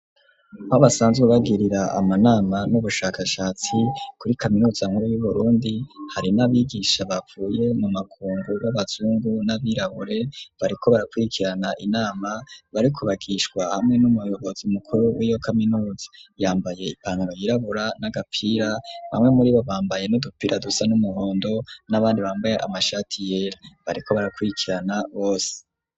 Aho basanzwe bagirira amanama n'ubushakashatsi kuri kaminuza nkuru yu Burundi hari n'abigisha bavuye mu makungu babazungu n'abirabure bariko barakwirikirana inama bariko bagishwa hamwe n'umuyobozi mukuru wiyo kaminuza yambaye ipantaro yirabura n'agapira bamwe muribo bambaye n'udupira dusa n'umuhondo n'abandi bambaye amashati yera bariko barakwirikirana bose.